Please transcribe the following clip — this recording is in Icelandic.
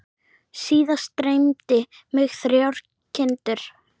Síðast dreymdi mig þrjár kindur.